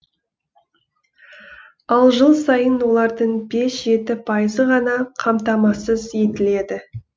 ал жыл сайын олардың бес жеті пайызы ғана қамтамасыз етіледі